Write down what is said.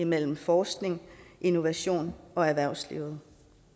mellem forskning og innovation og erhvervsliv